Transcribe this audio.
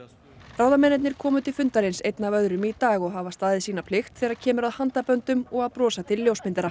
ráðamennirnir komu til fundarins einn af öðrum í dag og hafa staðið sína plikt þegar kemur að og að brosa til ljósmyndara